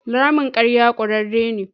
Ramin ƙarya ƙurarre ne.